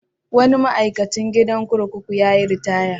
Wani ma'aikacin gidan kurkuku ya yi ritaya.